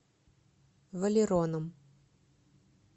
валероном